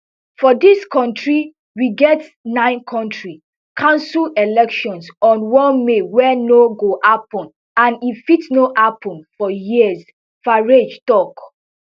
for dis kontri we get nine county council elections on one may wey no go happun and e fit no happun for years farage tok